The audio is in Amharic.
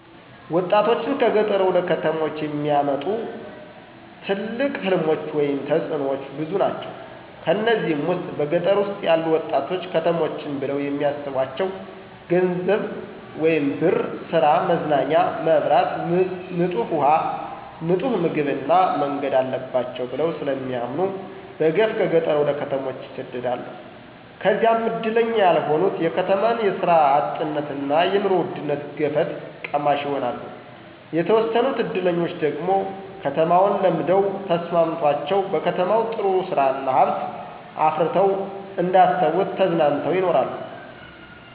ወጣቶችን ከገጠር ወደ ከተሞች የሚያመጡ ትልቅ ሕልሞች ወይም ተጥኖዎች ብዙ ናቸው። ከነዚህም ውስጥ በገጠር ውስጥ ያሉ ወጣቶች ከተሞችን ብለው የሚስቧቸው ገንዘብ ወይም ብር፣ ሥራ፣ መዝናኛ፣ መብራት፣ ንጡህ ውሃ፣ ንጡህ ምግብ እና መንገድ አለባቸው ብለው ስለሚያምኑ በገፍ ከገጠር ወደ ከተሞች ይሰደዳሉ። ከዚያም እድለኛ ያልሆኑት የከተማን የስራ አጥነትና የኑሮ ውድነት ገፈት ቀማሽ ይሆናሉ። የተወሰኑት እድለኞች ደግሞ ከተማውን ለምደው ተስማምቶቸው በከተማው ጥሩ ስራ እና ሀብት አፍረተው እንደ አሰቡት ተዝናንተው ይኖራሉ።